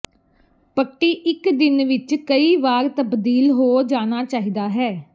ਪੱਟੀ ਇੱਕ ਦਿਨ ਵਿੱਚ ਕਈ ਵਾਰ ਤਬਦੀਲ ਹੋ ਜਾਣਾ ਚਾਹੀਦਾ ਹੈ